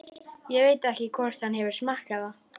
Ég veit ekki hvort hann hefur smakkað það.